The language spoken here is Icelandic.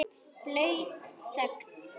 Blaut þögn.